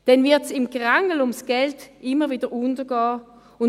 Dann wird es im Gerangel um das Geld immer wieder untergehen.